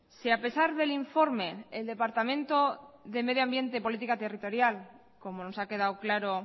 si a pesar del informe el departamento de medio ambiente y política territorial como nos ha quedado claro